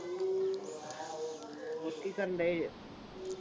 ਕੀ ਕਰਨ ਡੇ ਹੋ,